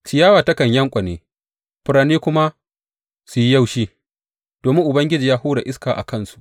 Ciyawa takan yanƙwane, furanni kuma su yi yaushi, domin Ubangiji ya hura iska a kansu.